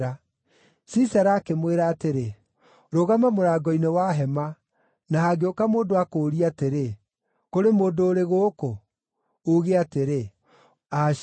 Sisera akĩmwĩra atĩrĩ, “Rũgama mũrango-inĩ wa hema, na hangĩũka mũndũ akũũrie atĩrĩ, ‘Kũrĩ mũndũ ũrĩ gũkũ?’ uuge atĩrĩ, ‘Aca.’ ”